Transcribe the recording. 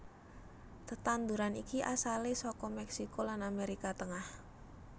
Tetanduran iki asalé saka Mèksiko lan Amérika Tengah